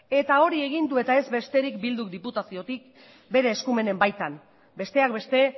eta hori egin du eta ez besterik bilduk diputaziotik bere eskumenen baitan besteak beste